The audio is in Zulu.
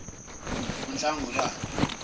unhlangulane